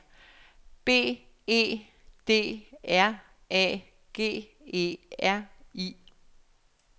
B E D R A G E R I